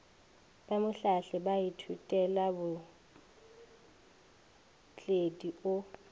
ba mohlahli wa baithutelabootledi o